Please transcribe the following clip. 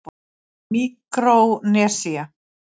Míkrónesía